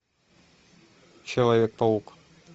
человек паук